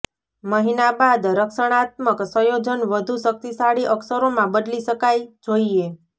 મહિના બાદ રક્ષણાત્મક સંયોજન વધુ શક્તિશાળી અક્ષરોમાં બદલી શકાય જોઈએ